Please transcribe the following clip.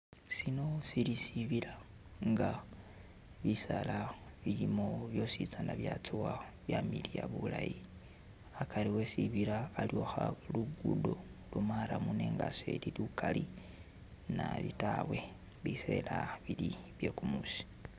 Sino sili sibila nga bisala bilimo byosi tsana byatsowa byamiliya bulayi akari esibila waliyo kha luguddo lwa'murram nenga seli lukaali naabi taawe bisela bili byekumusi